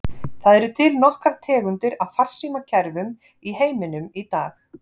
Það eru til nokkrar tegundir af farsímakerfum í heiminum í dag.